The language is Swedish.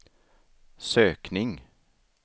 sökning